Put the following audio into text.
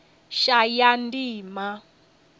shayandima